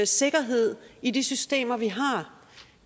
sikkerhed i de systemer vi har